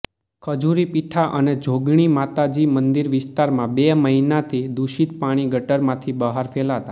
ખજુરીપીઠા અને જોગણી માતાજી મંદિર વિસ્તારમાં બે મહિનાથી દૂષિત પાણી ગટરમાંથી બહાર ફેલાતા